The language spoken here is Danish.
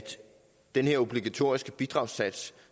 den her obligatoriske bidragssats